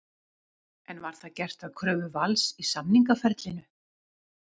En var það gert að kröfu Vals í samningaferlinu?